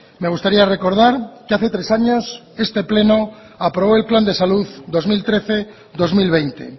me gustaría recordar que hace tres años este pleno aprobó el plan de salud dos mil trece dos mil veinte